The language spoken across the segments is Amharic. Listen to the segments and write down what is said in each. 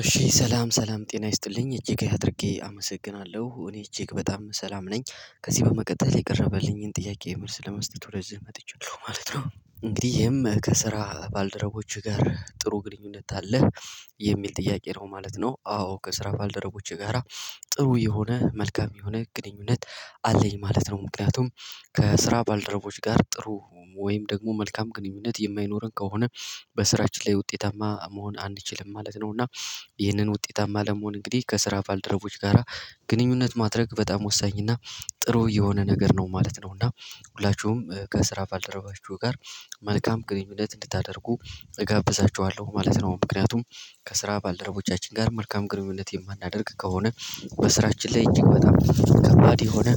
እሺ ሰላም ሰላም ጤና ይስጥልኝ እጅግ አድርጌ አመሰግናለሁ እኔ እጅግ በጣም ሰላም ነኝ ከዚህ በመቀጠል የቀረበልኝን ጥያቄ መልስ ለመስጠት ወደዚህ መጥቼለሁ ማለት ነው። እንግዲህ ይሄም ከስራ ባልደረቦችህ ጋር ጥሩ ግንኙነት አለህ የሚል ጥያቄ ነው ማለት ነው። አዎ ከስራ ባልደረቦቼ ጋራ ጥሩ የሆነ መልካም የሆነ ግንኙነት አለኝ ማለት ነው። ምክንያቱም ከስራ ባልደረቦች ጋር ጥሩ ወይም ደግሞ መልካም ግንኙነት የማይኖረን ከሆነ በስራችን ላይ ውጤታማ መሆን አንችልም ማለት ነው። እና ይህንን ውጤታማ ለመሆን እንግዲህ ከስራ ባልደረቦች ጋራ ግንኙነት ማድረግ በጣም ወሳኝ እና ጥሩ የሆነ ነገር ነው ማለት ነው። እና ሁላችሁም ከስራ ባልደረባችሁ ጋር መልካም ግንኙነት እንድታደርጉ እጋብዛችኋለሁ ማለት ነው። ምክንያቱም ከስራ ባልደረቦቻችን ጋር መልካም ግንኙነት የማናደርግ ከሆነ በስራችን ላይ እጅግ በጣም ከባድ የሆነ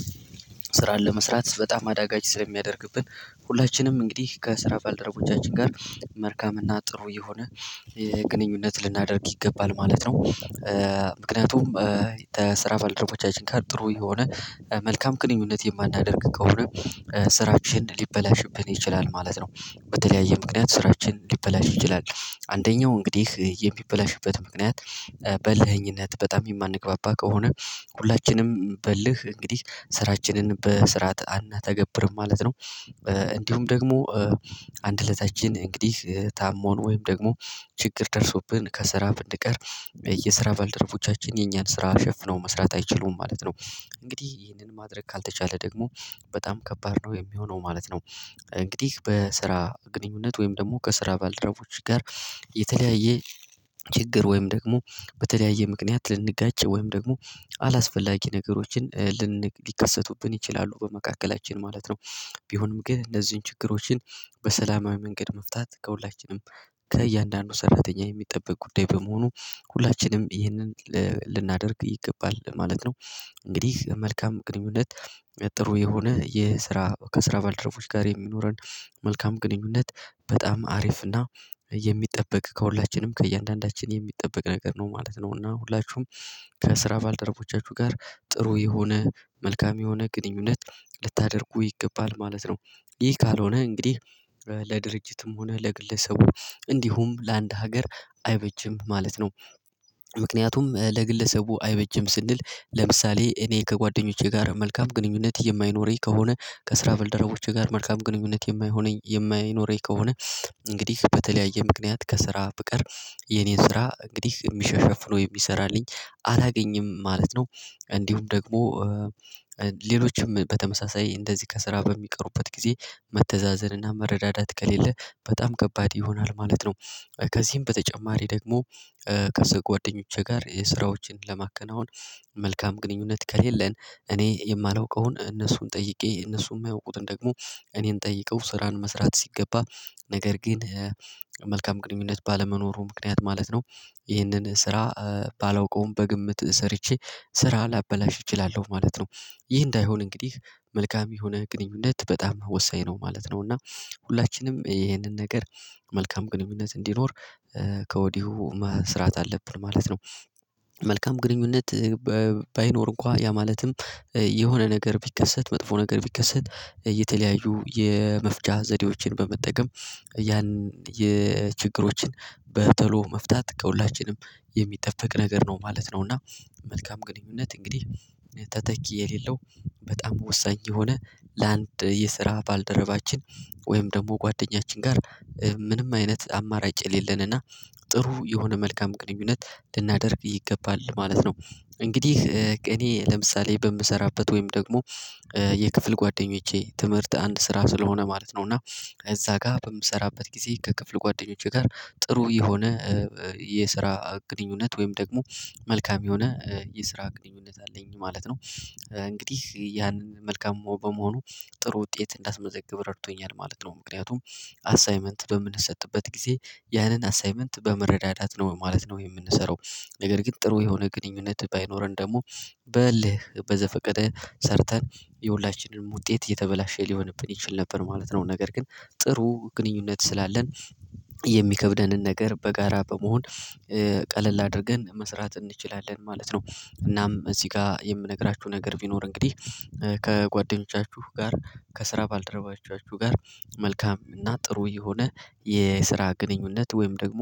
ስራን ለመስራት በጣም አዳጋች ስለሚያደርግብን ሁላችንም እንግዲህ ከስራ ባልደረጎቻችን ጋር መርካም እና ጥሩ የሆነ የግንኙነት ልናደርግ ይገባል ማለት ነው። ምክንያቱም ከስራ ባልደረቦቻችን ጋር ጥሩ የሆነ መልካም ግንኙነት የማናደርግ ከሆነ ስራችንን ሊበላሽብን ይችላል ማለት ነው። በተለያየ ምክንያት ስራችንን ሊበላሽ ይችላል አንደኛው እንግዲህ የሚበላሽበት ምክንያት በልኸኝነት በጣም የማንገባባ ከሆነ ሁላችንም በልህ እንግዲህ ስራችንን በስራት አንተገብርም ማለት ነው። እንዲሁም ደግሞ አንድለታችን እንግዲህ ታሞን ወይም ደግሞ ችግር ደርሶብን ከስራ ብንቀር የየስራ ባልደረቦቻችን የኛን ስራ ሸፍነው መስራት አይችሉም ማለት ነው። እንግዲህ ይህንን ማድረግ ካልተቻለ ደግሞ በጣም ከባድ ነው የሚሆነው ማለት ነው። እንግዲህ በስራ ግንኙነት ወይም ደግሞ ከስራ ባልደረቦች ጋር የተለያየ ችግር ወይም ደግሞ በተለያየ ምክንያት ልንጋጭ ወይም ደግሞ አላስፈላጊ ነገሮችን ሊከሰቱብን ይችላሉ በመካከላችን ማለት ነው። ቢሆንም ግን እነዚህን ችግሮችን በሰላማዊ መንገድ መፍታት ከሁላችንም ከእያንዳንዱ ሰራተኛ የሚጠበቅ ጉዳይ በመሆኑ ሁላችንም ይህንን ልናደርግ ይገባል ማለት ነው። እንግዲህ መልካም ግንኙነት ጥሩ የሆነ የስራ ከስራ ባልደረቦች ጋር የሚኖረን መልካም ግንኙነት በጣም አሪፍ እና የሚጠበቅ ከሁላችንም ከእያንዳንዳችን የሚጠበቅ ነገር ነው ማለት ነው። እና ሁላችሁም ከስራ ባልደረቦቻችሁ ጋር ጥሩ የሆነ መልካም የሆነ ግንኙነት ልታደርጉ ይገባል ማለት ነው። ይህ ካልሆነ እንግዲህ ለድርጅትም ሆነ ለግለሰቡ እንዲሁም ለአንድ ሀገር አይበጅም ማለት ነው። ምክንያቱም ለግለሰቡ አይበጀም ስንል ለምሳሌ እኔ ከጓደኞቼ ጋር መልካም ግንኙነት የማይኖረኝ ከሆነ ከስራ በልደራቦቼ ጋር መልካም ግንኙነት የማይሆነኝ የማይኖረኝ ከሆነ እንግዲህ በተለያየ ምክንያት ከስራ ብቀር የኔን ስራ እንግዲህ የሚሸሸፍነው የሚሰራልኝ አላገኝም ማለት ነው። እንዲሁም ደግሞ ሌሎችም በተመሳሳይ እንደዚህ ከስራ በሚቀሩበት ጊዜ መተዛዘንና መረዳዳት ከሌለ በጣም ከባድ ይሆናል ማለት ነው። ከዚህም በተጨማሪ ደግሞ ከሰ ጓደኞቼ ጋር የስራዎችን ለማከናወን መልካም ግንኙነት ከሌለን እኔ የማላውቀውን እነሱን ጠይቄ እነሱ የማያውቁትን ደግሞ እኔን ጠይቀው ስራን መስራት ሲገባ ነገር ግን መልካም ግንኙነነት ባለመኖሩ ምክንያት ማለት ነው። ይህንን ስራ ባላውቀውም በግምት ሰርቼ ስራ ላበላሽ እችላለሁ ማለት ነው። ይህ እንዳይሆን እንግዲህ መልካም የሆነ ግንኙነት በጣም ወሳኝ ነው ማለት ነው። እና ሁላችንም ይሄንን ነገር መልካም ግንኙነት እንዲኖር ከወዲሁ መስራት አለብን ማለት ነው። መልካም ግንኙነት ባይኖር እንኳን ያ ማለትም የሆነ ነገር ቢከሰት መጥፎ ነገር ቢከሰት እየተለያዩ የመፍጫ ዘዴዎችን በመጠቀም ያን የችግሮችን በቶሎ መፍታት ከሁላችንም የሚጠበቅ ነገር ነው ማለት ነው። እና መልካም ግንኙነት እንግዲህ ተተኪ የሌለው በጣም ወሳኝ የሆነ ለአንድ የስራ ባልደረባችን ወይም ደግሞ ጓደኛችን ጋር ምንም አይነት አማራጭ የሌለንና ጥሩ የሆነ መልካም ቅንኙነት ልናደርግ ይገባል ማለት ነው። እንግዲህ እኔ ለምሳሌ በምሰራበት ወይም ደግሞ የክፍል ጓደኞቼ ትምህርት አንድ ስራ ስለሆነ ማለት ነው እና እዛ ጋር በምሰራበት ጊዜ ከክፍል ጓደኞቼ ጋር ጥሩ የሆነ የስራ ግንኙነት ወይም ደግሞ መልካም የሆነ የስራ ግንኙነት አለኝ ማለት ነው። እንግዲህ ያንን መልካም በመሆኑ ጥሩ ውጤት እንዳስመዘግብ ረድቶኛል ማለት ነው ምክንያቱም አሳይመንት በምንሰጥበት ጊዜ ያንን አሳይመንት በመረዳዳት ነው ማለት ነው የምንሰራው። ነገር ግን ጥሩ የሆነ ግንኙነት ባይኖረን ደግሞ በልህ በዘፈቀደ ሰርተን የሁላችንም ውጤት እየተበላሸ ሊሆንብን ይችል ነበር ማለት ነው። ነገር ግን ጥሩ ግንኙነት ስላለን የሚከብደንን ነገር በጋራ በመሆን ቀለል አድርገን መስራት እንችላለን ማለት ነው። እናም እዚህ ጋር የምነግራችሁ ነገር ቢኖር እንግዲህ ከጓደኞቻችሁ ጋር ከስራ ባልደረባችሁ ጋር መልካም እና ጥሩ የሆነ የስራ ግንኙነት ወይም ደግሞ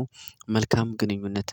መልካም ግንኙነት